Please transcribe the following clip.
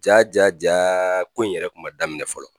Jaa jaa jaa ko in yɛrɛ kuma daminɛ fɔlɔ,